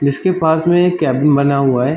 जिसके पास में एक केबिन बना हुआ है।